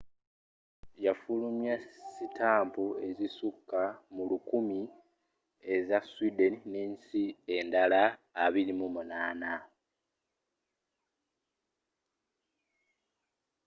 yafulumya sitampu ezisuka mu 1000 eza sweden n'ensi endala 28